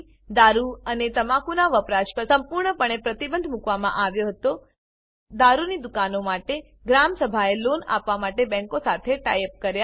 દારૂ અને તમાકુના વપરાશ પર સંપૂર્ણપણે પ્રતિબંધ મૂકવામાં આવ્યો હતો દારૂની દુકાનો માટે ગ્રામ સભાએ લોન આપવા માટે બેંકો સાથે ટાઇ અપ કર્યા